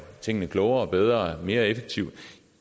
tingene klogere og bedre og mere effektivt